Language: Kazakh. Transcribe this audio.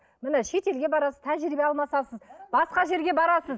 міне шетелге барасыз тәжірибе алмасасыз басқа жерге барасыз